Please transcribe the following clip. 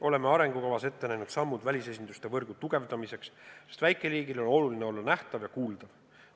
Oleme arengukavas ette näinud sammud välisesinduste võrgu tugevdamiseks, sest väikeriigile on oluline olla nähtav ja kuuldav.